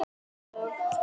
Fer frá mér.